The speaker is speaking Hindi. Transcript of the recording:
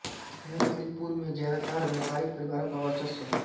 नई अलीपुर में ज्यादातर व्यापारिक परिवारों का वर्चस्व है